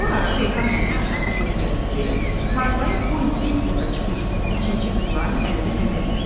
Bu ara Reyhan nənə ətrafa göz gəzdirdi, tarlaya bu il ilk dəfə çıxmış biçinçi qızların əlinə nəzər yetirdi.